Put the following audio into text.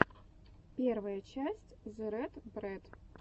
первая часть зе рэд брэд